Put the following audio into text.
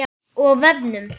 Á vefnum